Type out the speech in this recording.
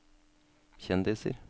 kjendiser